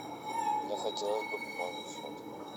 мне хотелось бы пополнить счет